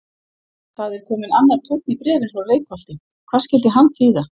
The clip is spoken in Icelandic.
Það er kominn annar tónn í bréfin frá Reykholti, hvað skyldi hann þýða?